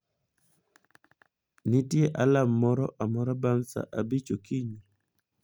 nitie alarm moro amora bang' saa abich okinyi